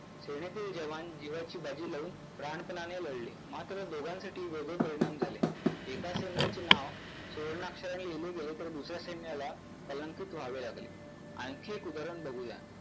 सैन्यातील जवान जीवाची बाजी लावून प्राणपणाने लढले मात्र दोघांसाठी वेगळे परिणाम झाले. एका सैन्याचे नाव सुवर्णाक्षराने लिहिले गेले तर दुसऱ्या सैन्याला कलंकित व्हावे लागले. आणखी एक उदाहरण बघूया.